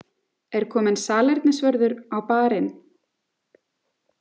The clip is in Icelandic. Er kominn salernisvörður á Bar- inn?